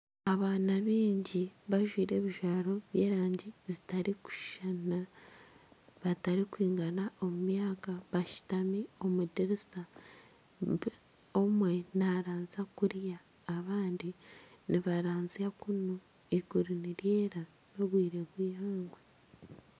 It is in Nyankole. Abaana baingi bajwaire ebijwaro by'erangi zitarikushushana batarikwigana omu myaka bashutami omu diriisa, omwe narazya kuriya kandi abandi nibarazya kuunu eiguru niryera n'obwire bw'eihangwe.